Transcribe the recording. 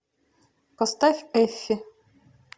поставь эффи